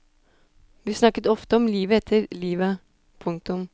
Vi snakket ofte om livet etter livet. punktum